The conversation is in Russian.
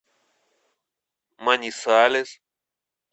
манисалес